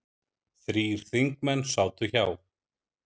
Þrír þingmenn sátu hjá